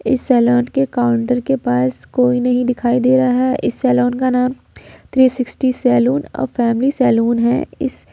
इस सैलून के काउंटर के पास कोई नहीं दिखाई दे रहा है इस सैलून का नाम थ्री सिक्टी सैलून और फैमिली सैलून है इस--